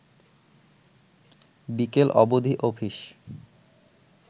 বিকেল অবধি অফিস